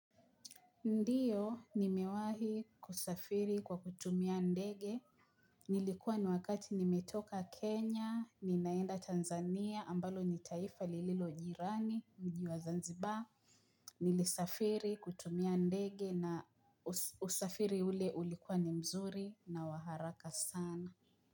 Ndiyo, nimewahi kusafiri kwa kutumia ndege. Nilikuwa ni wakati nimetoka Kenya, ninaenda Tanzania, ambalo ni taifa lililo jirani, mji wa Zanzibar. Nilisafiri kutumia ndege na usafiri ule ulikuwa ni mzuri na wa haraka sana.